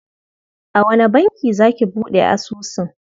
A wane banki za ki buɗe asusun?